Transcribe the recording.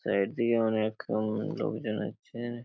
Side দিয়ে অনেক উম লোকজন আছে।